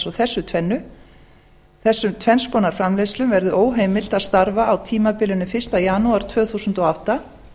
alltsvo þessu tvennu þessum tvenns konar framleiðslum verði óheimilt að starfa á tímabilinu fyrsta janúar tvö þúsund og átta